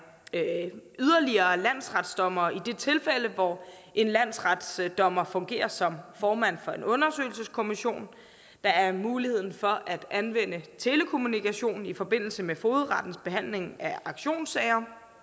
yderligere landsretsdommere i det tilfælde hvor en landsretsdommer fungerer som formand for en undersøgelseskommission der er mulighed for at anvende telekommunikation i forbindelse med fogedrettens behandling af auktionssager